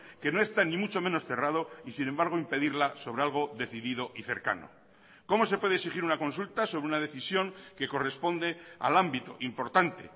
que no está ni mucho menos cerrado y sin embargo impedirla sobre algo decidido y cercano cómo se puede exigir una consulta sobre una decisión que corresponde al ámbito importante